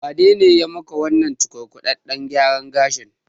Wanene yayi maka wannan cukurkudaɗɗen gyaran gashin?